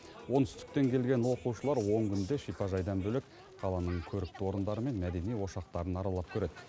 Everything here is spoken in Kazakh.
оңтүстіктен келген оқушылар он күнде шипажайдан бөлек қаланың көрікті орындары мен мәдени ошақтарын аралап көреді